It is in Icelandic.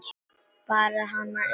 Bara hana eina.